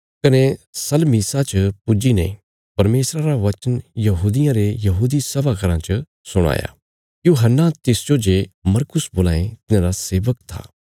कने सलमीसा च पुज्जी ने परमेशरा रा वचन यहूदियां रे यहूदी सभा घराँ च सुणाया यूहन्ना तिसजो जे मरकुस बोलां ये तिन्हांरा सेवक था